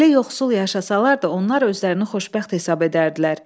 Belə yoxsul yaşasalar da, onlar özlərini xoşbəxt hesab edərdilər.